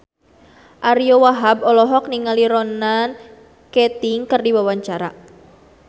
Ariyo Wahab olohok ningali Ronan Keating keur diwawancara